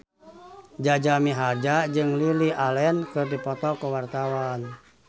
Jaja Mihardja jeung Lily Allen keur dipoto ku wartawan